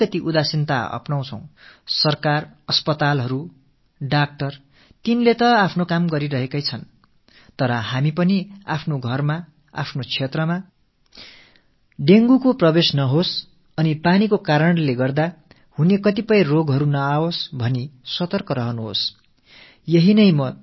அரசு மருத்துவமனைகள் மருத்துவர்கள் என்று அனைவரும் தங்கள் பணிகளை செய்து வந்தாலும் கூட நாமும் நமது வீடுகளில் நமது பகுதிகளில் நமது குடும்பங்களில் டெங்குவை அனுமதிக்க கூடாது தண்ணீர் மூலம் ஏற்படக் கூடிய எந்த நோயும் நெருங்கக் கூடாது என்பதில் விழிப்போடு இருக்க வேண்டும் இது தான் நான் உங்கள் அனைவரிடமும் விண்ணப்பித்துக் கொள்கிறேன்